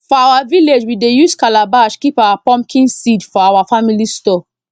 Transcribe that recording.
for our village we dey use calabash keep our pumpkin seed for our family store